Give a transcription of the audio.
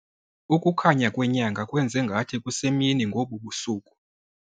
Ukukhanya kwenyanga kwenze ngathi kusemini ngobu busuku.